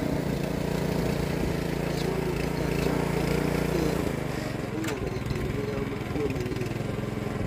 Wach mawuok e kar jot mar ker nolando jatend migao no manyien